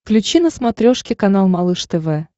включи на смотрешке канал малыш тв